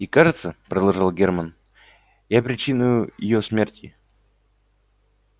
и кажется продолжал герман я причиною её смерти